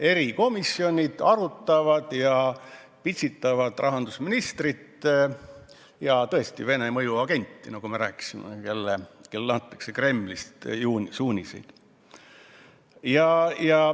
Erikomisjonid arutavad ja pitsitavad rahandusministrit ja Vene mõjuagenti, nagu me rääkisime, kellele antakse Kremlist suuniseid.